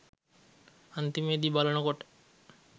අන්තිමේදි බලනකොට